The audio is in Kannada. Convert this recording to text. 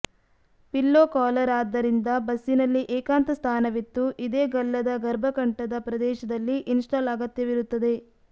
ಪಿಲ್ಲೊ ಕಾಲರ್ ಆದ್ದರಿಂದ ಬಸ್ಸಿನಲ್ಲಿ ಏಕಾಂತಸ್ಥಾನವಿತ್ತು ಇದೆ ಗಲ್ಲದ ಗರ್ಭಕಂಠದ ಪ್ರದೇಶದಲ್ಲಿ ಇನ್ಸ್ಟಾಲ್ ಅಗತ್ಯವಿರುತ್ತದೆ